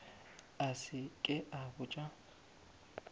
a se ke a botša